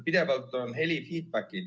Pidevalt on heli ...